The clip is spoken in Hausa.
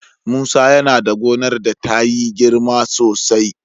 Musa yana da gonar da ta yi girma sosai.